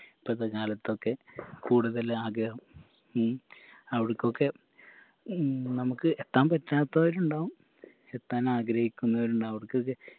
ഇപ്പത്തെ കാലത്തൊക്കെ കൂടുതൽ ആഗ്രഹം ഉം അവിടക്കൊക്കെ ഉം നമക്ക് എത്താൻ പറ്റാത്തതായിട്ടുണ്ടാകും എത്താൻ ആഗ്രഹിക്കുന്നവരുണ്ടാകും അവർക്ക്കെ